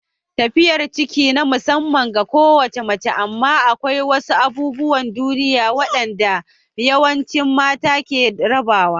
Tafiyar ciki na musamman ga kowace mace amma akwai wasu abubuwan duniya waɗanda yawancin mata ke rabawa.